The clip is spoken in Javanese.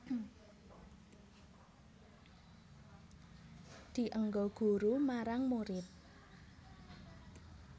Dienggo guru marang murid